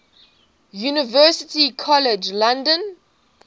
university college london